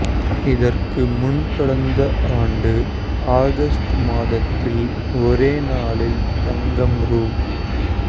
இதற்கு முன் கடந்த ஆண்டு ஆகஸ்ட் மாதத்தில் ஒரே நாளில் தங்கம் ரூ